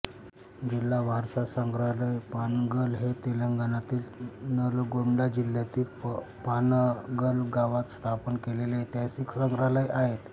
जिल्हा वारसा संग्रहालय पानगल हे तेलंगणातील नलगोंडा जिल्ह्यातील पानगल गावात स्थापन केलेले ऐतिहासिक संग्रहालय आहे